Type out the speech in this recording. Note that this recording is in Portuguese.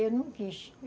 Eu não quis.